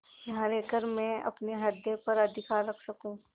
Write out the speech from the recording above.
यहाँ रहकर मैं अपने हृदय पर अधिकार रख सकँू